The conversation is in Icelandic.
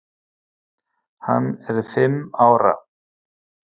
Hann er fimm ára.